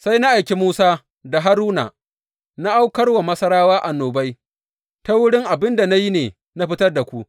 Sai na aiki Musa da Haruna, na aukar wa Masarawa annobai, ta wurin abin da na yi ne na fitar da ku.